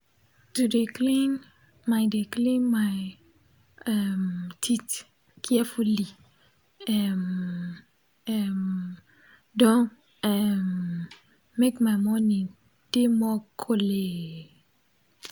to de clean my de clean my um teeth carefuli um um don um make my morning dey more colleelee